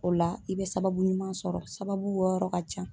O la i bɛ sababu ɲuman sɔrɔ sababu bɔyɔrɔ ka can.